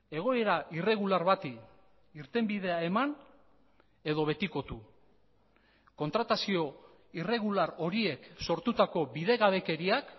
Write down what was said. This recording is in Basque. egoera irregular bati irtenbidea eman edo betikotu kontratazio irregular horiek sortutako bidegabekeriak